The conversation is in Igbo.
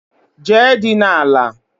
Jee dina àlà